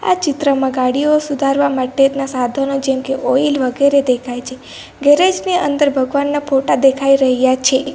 ચિત્રમાં ગાડીઓ સુધારવા માટેના સાધનો જેમકે ઓઇલ વગેરે દેખાય છે ગેરેજ ની અંદર ભગવાનના ફોટા દેખાઈ રહ્યા છે.